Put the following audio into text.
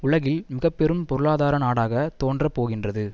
உலகில் மிக பெரும் பொருளாதார நாடாக தோன்றப் போகின்றது